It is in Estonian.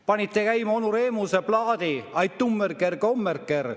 Panite käima onu Remuse plaadi: "Ai-tummeri-ker-kommeri-ker.